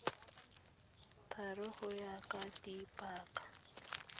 thari go ya ka dipaka